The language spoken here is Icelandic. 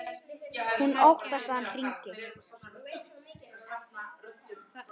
Hún óttast að hann hringi.